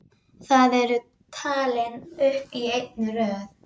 Þar eru talin upp í einni röð